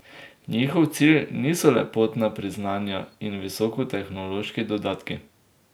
Njihov cilj niso lepotna priznanja in visokotehnološki dodatki.